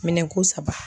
Minɛn ko saba